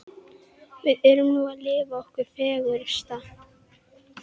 Það var barið að dyrum og Vigdís opnaði.